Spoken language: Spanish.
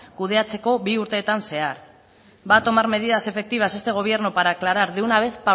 kudeatzeko bi urteetan zehar va a tomar medidas efectivas este gobierno para aclarar de una vez